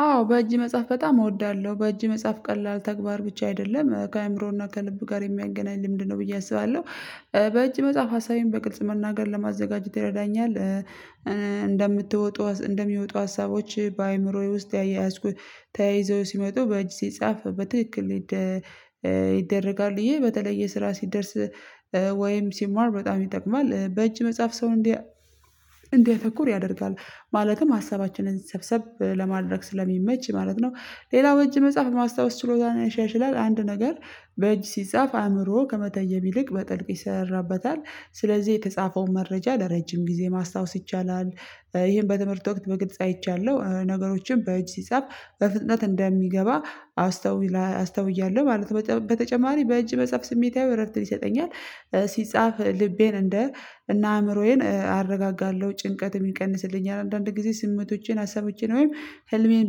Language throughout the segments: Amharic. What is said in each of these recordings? አዎ በእጅ መጽሐፍ በጣም እወዳለሁ በእጅ መጽሐፍ ቀላል ተግባር ብቻ አይደለም ከአእምሮ እና ከልብ ጋር የሚያገናኝ ልምድ ነው ብዬ አስባለሁ። በእጅ መጽሐፍ ሀሳቤን በግልጽ መናገር ለማዘጋጅት ይረዳኛል። እንደምትወጡ እንደሚወጡ ሀሳቦች በአእምሮዬ ውስጥ እየያዝኩ ተያይዘው ሲመጡ በእጅ ሲጻፍ በትክክል። ይደረጋል ይሄ በተለየ ስራ ሲደርስ ወይም ሲማር በጣም ይጠቅማል። በእጅ መጽሐፍ ሰው እንዲያ እንዲያተኩር ያደርጋል። ማለትም ሀሳባችንን ሰብሰብ ለማድረግ ስለሚመች ማለት ነው። ሌላው እጅ መጽሐፍ ማስታወስ ችሎታ ያሻሽላል። አንድ ነገር በእጅ ሲጻፍ አእምሮ ከመተየብ ይልቅ በጥልቅ ይሰራራበታል ስለዚህ የተጻፈውን መረጃ ለረጅም ጊዜ ማስታወስ ይቻላል። ይሄን በትምህርት ወቅት በግልጽ አይቻለሁ ነገሮችን በእጅ ሲጻፍ በፍጥነት እንደሚገባ አስተዊላ አስተውያለሁ ማለት ነው። በተጨማሪ በእጅ መጽሐፍ ስሜታዊ እረፍትን ይሰጠኛል። ሲጻፍ ልቤን እንደ እና አእምሮዬን አረጋጋለሁ ጭንቀትም ይቀንስልኛል። አንዳንድ ጊዜ ስሜቶቼን ሀሳቦቼን ወይም ህልሜን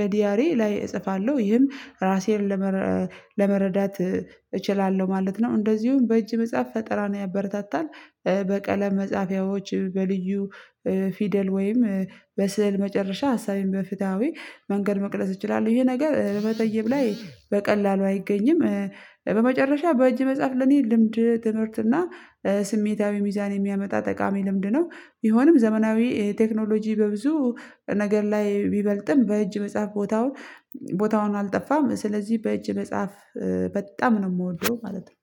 በዲያሪ ላይ እጽፋለሁ ይህም ራሴን ለመረ ለመረዳት እችላለሁ ማለት ነው። እንደዚሁም በእጅ ቢጻፍ ፈጠራን ያበረታታል። በቀለም መጽሐፊያዎች በልዩ ፊደል ወይም በስዕል መጨረሻ ሀሳቤን በፍትሃዊ መንገድ መቅደስ እችላለሁ። ይሄ ነገር በመተይብ ላይ በቀላሉ አይገኝም። በመጨረሻ በእጅ መጽሐፍ ለእኔ ልምድ ትምህርት እና ስሜታዊ ሚዛን የሚያመጣ ጠቃሚ ልምድ ነው። ቢሆንም ዘመናዊ ቴክኖሎጂ በብዙ ነገር ላይ ቢበልጥም በእጅ መጽሐፍ ቦታውን ቦታውን አልጠፋም ስለዚህ በእጅ መጽሐፍ በጣም ነው የምወደው ማለት ነው።